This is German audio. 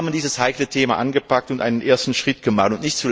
Sie haben dieses heikle Thema angepackt und einen ersten Schritt gemacht.